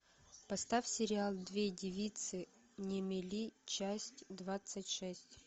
поставь сериал две девицы на мели часть двадцать шесть